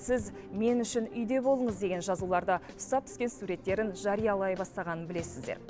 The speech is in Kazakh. сіз мен үшін үйде болыңыз деген жазуларды статуске суреттерін жариялай бастағанын білесіздер